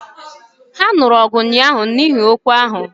Ha nuru ọgụ ụnyahụ n’ihi okwu ahụ